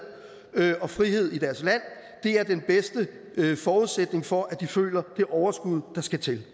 og frihed i deres land det er den bedste forudsætning for at de føler de det overskud der skal til